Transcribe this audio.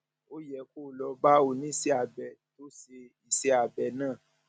ó yẹ kó o lọ bá oníṣẹ abẹ tó ṣe iṣẹ abẹ náà